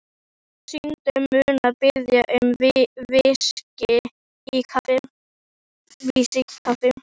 Og Syndin mun biðja um VISKÍ í kaffið.